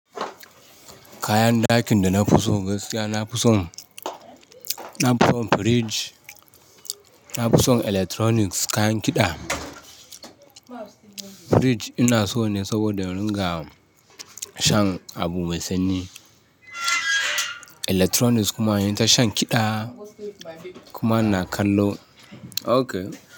Kayan dakin da na fi so gaskiya, na fi son, na fi son fridge, na fi son electronics, kayan kiɗa. Fridge ina so ne saboda in riga shan abu mai sanyi. Electronics kuma hanyar shan kiɗa kuma na kallo. Okay.